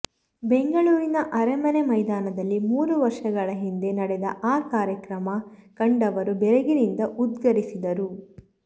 ಬೆಂಗಳೂರಿನ ಅರಮನೆ ಮೈದಾನದಲ್ಲಿ ಮೂರು ವರ್ಷಗಳ ಹಿಂದೆ ನಡೆದ ಆ ಕಾರ್ಯಕ್ರಮ ಕಂಡವರು ಬೆರಗಿನಿಂದ ಉದ್ಗರಿಸಿದ್ದರು